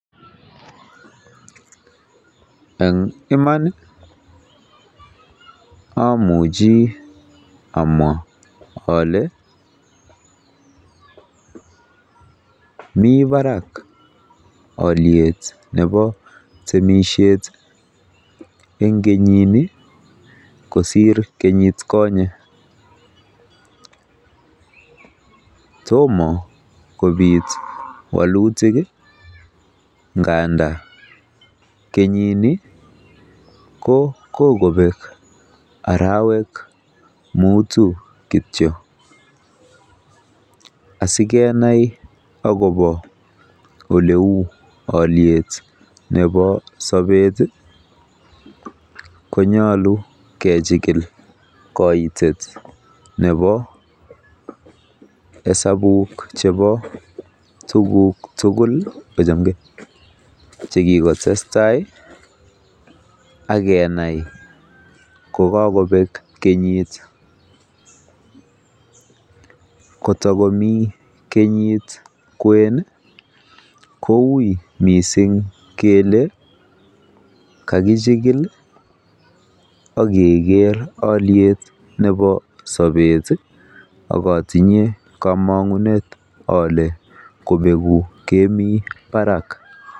En iman amuchi amwa ole mi barak olyet nebo temisiiet en kenyini kosir kenyit konye, tomo kobit walutik nganda kenyini ko kogobek arawek mutu kityo asikenai agobo oleu olyet nebo sobet, konyolu kechikil koitet nebo hasabuk chbeo tuguk tugul che kigotestai akkenai kogakobek kenyit kotokomi kenyit kwen kouiy miisng kele kagichikil ak keger olyet nebo sobet ak otinye komong'unet ole kobegu kemi barak.